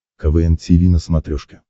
квн тиви на смотрешке